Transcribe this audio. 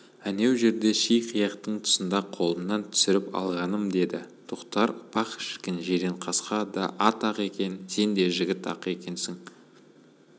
әнеу жерде ши қияқтың тұсында қолымнан түсіріп алғаным деді тоқтар пах шіркін жиренқасқа да ат-ақ екен сен де жігіт-ақ екенсің